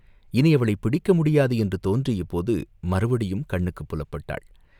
இனி அவளைப் பிடிக்க முடியாது என்று தோன்றியபோது மறுபடியும் கண்ணுக்குப் புலப்பட்டாள்.